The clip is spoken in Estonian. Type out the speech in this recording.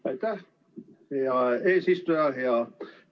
Aitäh, hea eesistuja!